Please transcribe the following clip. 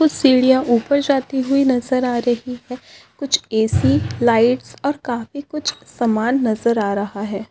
कुछ सिडिया ऊपर जाती हुई नज़र आ रही है कुछ ए_सी लाइट्स और काफी कुछ सामान नज़र आ रहा है।